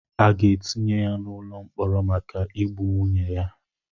A ga-etinye ya n'ụlọ mkpọrọ maka igbu nwunye ya.